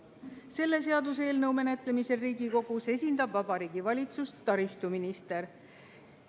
Selle seaduseelnõu menetlemisel Riigikogus esindab Vabariigi Valitsust taristuminister.